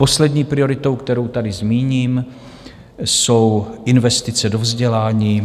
Poslední prioritou, kterou tady zmíním, jsou investice do vzdělání.